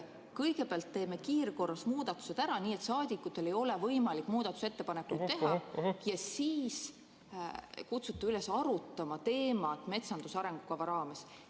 Kõigepealt teeme kiirkorras muudatused ära, nii et saadikutel ei ole võimalik muudatusettepanekuid teha, ja siis kutsute üles arutama teemat metsanduse arengukava raames.